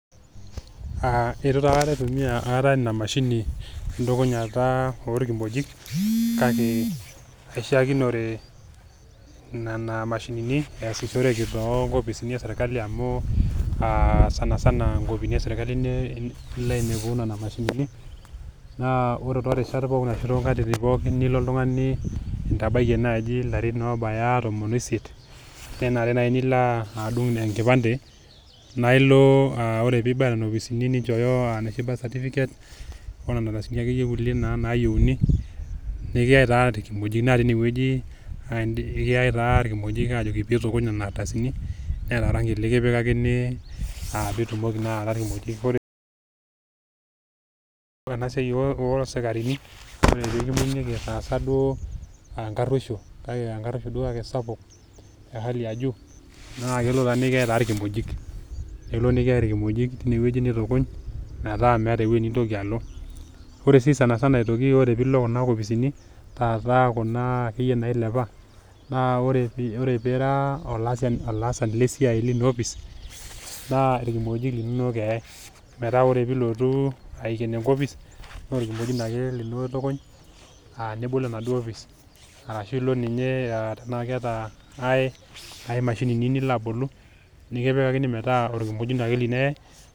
Eitu taa aikata aitumia ina mashini entukunyata oo ilkimojik, kake aishaakinore nena mashinini easishoreke too inkopisini e serkali amu aa sanasana inkopisini e serkali ilo ainepunye nena mashinini, naa ore too irishat pookin anaa too nkatitin pookin naa ilo oltung'ani intabayie naaji ilarin oobaya intomon o isiet, nenare naa naaji nilo adung' enkipande, naa ilo ore pee ibaya nena opisini ore pee inchooyo enooshi birth certificate, o nena ardasini naakeyie naayieuni, nekiyai taa ilkimojik teine wueji ajoki pee itukuny nena ardasini, neata orangi lekipikakini pitumoki naa aatau ilkimojik olio. Ore ena siai o isikarini, ore pee kimbung'i duo itaasa enkaruoisho duo kake esapuk e hali ya juu, naa kelo taa nekiyai ilkimojik, eo nekiyai ilkimojik teine wueji nitukuny metaa meata ewueji nintoki aalo. Ore sii aitoki sanisana pee ilo kuna kopisini , taata ake iyie kuna nailepa, naa ore pee ira olaasani leina kopis naa ilkimojik linono eyai, metaa ore pee ilotu eikeno enkopisi, naa olkimojino lino ake itukuny aa nibol enaduo opis, arashu ilo ninye arashu eata ai mashinini nilo abolu, nekipikakini metaa olkimojino lino ake eyai.